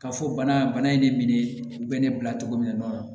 K'a fɔ bana in ne minɛ bɛ ne bila cogo min na